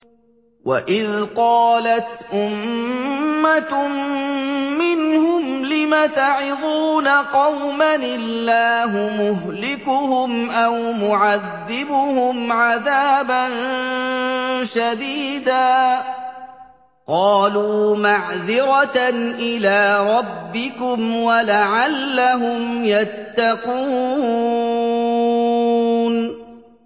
وَإِذْ قَالَتْ أُمَّةٌ مِّنْهُمْ لِمَ تَعِظُونَ قَوْمًا ۙ اللَّهُ مُهْلِكُهُمْ أَوْ مُعَذِّبُهُمْ عَذَابًا شَدِيدًا ۖ قَالُوا مَعْذِرَةً إِلَىٰ رَبِّكُمْ وَلَعَلَّهُمْ يَتَّقُونَ